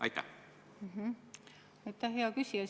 Aitäh, hea küsija!